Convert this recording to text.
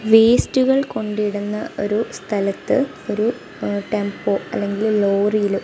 വേസ്റ്റുകൾ കൊണ്ടിടുന്ന ഒരു സ്ഥലത്ത് ഒരു ടെമ്പോ അല്ലെങ്കിൽ ലോറിയില് --